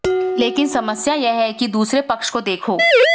लेकिन समस्या यह है के दूसरे पक्ष को देखो